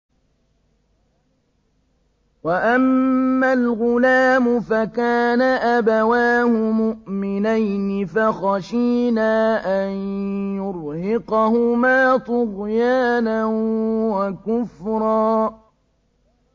وَأَمَّا الْغُلَامُ فَكَانَ أَبَوَاهُ مُؤْمِنَيْنِ فَخَشِينَا أَن يُرْهِقَهُمَا طُغْيَانًا وَكُفْرًا